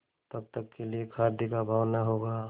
तब तक के लिए खाद्य का अभाव न होगा